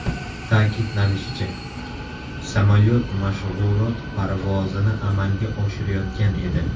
Ta’kidlanishicha, samolyot mashg‘ulot parvozini amalga oshirayotgan edi.